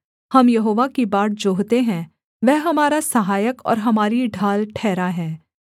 हम यहोवा की बाट जोहते हैं वह हमारा सहायक और हमारी ढाल ठहरा है